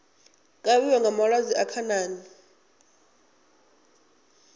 kavhiwa nga malwadze a khanani